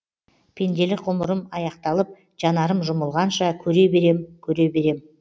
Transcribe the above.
пенделік ғұмырым аяқталып жанарым жұмылғанша көре берем көре берем